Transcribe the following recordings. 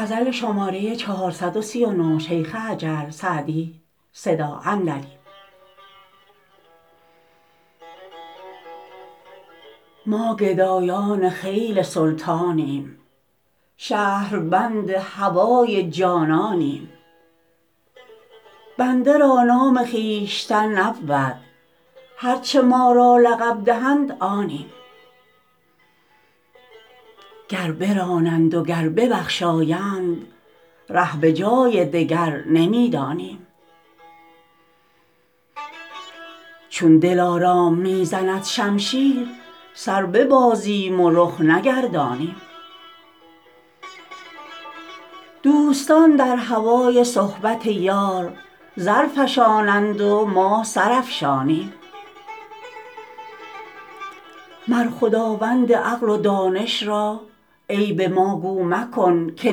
ما گدایان خیل سلطانیم شهربند هوای جانانیم بنده را نام خویشتن نبود هر چه ما را لقب دهند آنیم گر برانند و گر ببخشایند ره به جای دگر نمی دانیم چون دلارام می زند شمشیر سر ببازیم و رخ نگردانیم دوستان در هوای صحبت یار زر فشانند و ما سر افشانیم مر خداوند عقل و دانش را عیب ما گو مکن که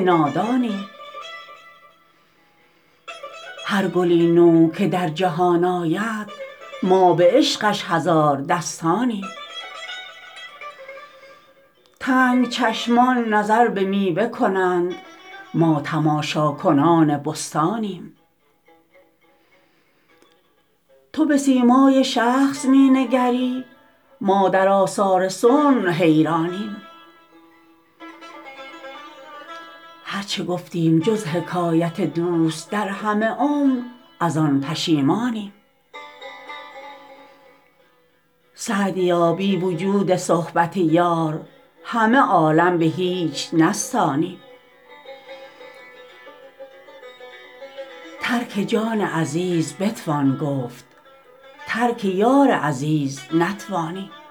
نادانیم هر گلی نو که در جهان آید ما به عشقش هزار دستانیم تنگ چشمان نظر به میوه کنند ما تماشاکنان بستانیم تو به سیمای شخص می نگری ما در آثار صنع حیرانیم هر چه گفتیم جز حکایت دوست در همه عمر از آن پشیمانیم سعدیا بی وجود صحبت یار همه عالم به هیچ نستانیم ترک جان عزیز بتوان گفت ترک یار عزیز نتوانیم